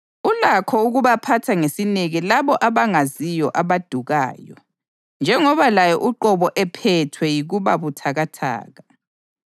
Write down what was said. Ulakho ukubaphatha ngesineke labo abangaziyo abadukayo, njengoba laye uqobo ephethwe yikuba buthakathaka.